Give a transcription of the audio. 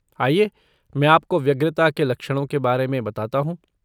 आइए मैं आपको व्यग्रता के लक्षणों के बारे में बताता हूँ।